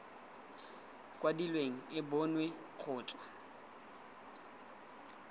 kwadilweng e bonwe go tswa